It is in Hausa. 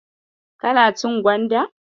Kana cin gwanda?